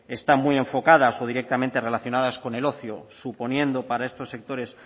están muy enfocadas o directamente relacionadas con el ocio suponiendo para estos sectores